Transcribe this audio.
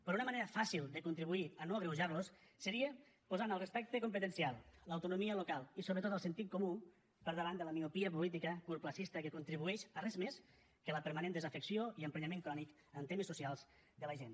però una manera fàcil de contribuir a no agreujarlos seria posar en el respecte competencial l’autonomia local i sobretot el sentit comú per davant de la miopia política curtterminista que contribueix a res més que a la permanent desafecció i emprenyament crònic en temes socials de la gent